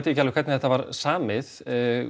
ekki alveg hvernig þetta var samið